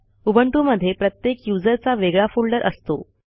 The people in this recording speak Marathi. उबंटूमधे प्रत्येक यूझर चा वेगळा फोल्डर असतो